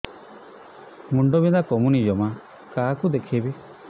ମୁଣ୍ଡ ବିନ୍ଧା କମୁନି ଜମା କାହାକୁ ଦେଖେଇବି